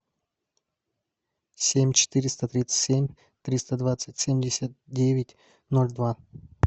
семь четыреста тридцать семь триста двадцать семьдесят девять ноль два